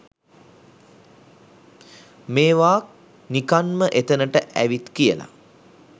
මේව නිකන් ම එතනට ඇවිත් කියල